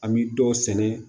An bɛ dɔw sɛnɛ